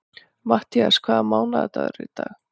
Matthías, hvaða mánaðardagur er í dag?